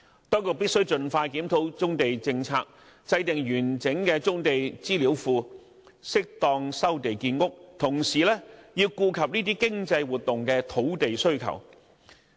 當局必須盡快檢討棕地政策，設立完整的棕地資料庫，適當收地建屋，同時顧及這些經濟活動的土地需求。